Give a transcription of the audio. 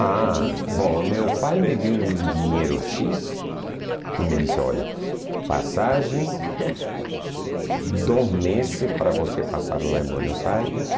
para ir para Buenos Aires? Ah, bom, meu pai me deu um dinheiro xis e me disse, olha, passagem, dois meses para você passar lá em Buenos Aires.